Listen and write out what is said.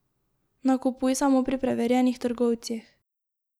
Nakupuj samo pri preverjenih trgovcih.